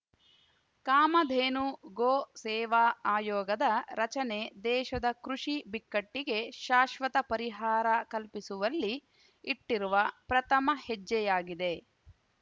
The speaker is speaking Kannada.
ಕಾಮಧೇನು ಗೋ ಸೇವಾ ಆಯೋಗದ ರಚನೆ ದೇಶದ ಕೃಷಿ ಬಿಕ್ಕಟ್ಟಿಗೆ ಶಾಶ್ವತ ಪರಿಹಾರ ಕಲ್ಪಿಸುವಲ್ಲಿ ಇಟ್ಟಿರುವ ಪ್ರಥಮ ಹೆಜ್ಜೆಯಾಗಿದೆ